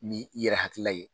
Ni i yɛrɛ hakilila ye